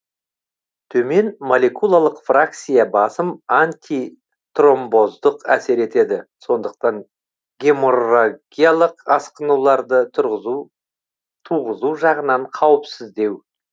төмен молекулалық фракциясы басым антитромбоздық әсер етеді сондықтан геморрагиялық асқынуларды туғызу жағынан қауіпсіздеу